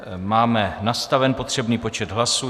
Máme nastaven potřebný počet hlasů.